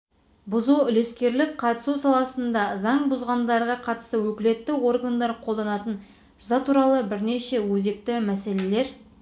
бұзу үлескерлік қатысу саласында заң бұзғандарға қатысты өкілетті органдар қолданатын жаза туралы бірнеше өзекті мәселелер